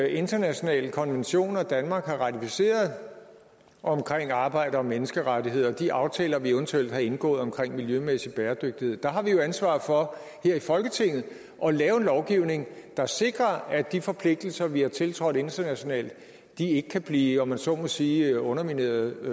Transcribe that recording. internationale konventioner danmark har ratificeret omkring arbejde og menneskerettigheder og de aftaler vi eventuelt har indgået omkring miljømæssig bæredygtighed der har vi jo ansvaret for her i folketinget at lave en lovgivning der sikrer at de forpligtelser vi har tiltrådt internationalt ikke kan blive om man så må sige undermineretset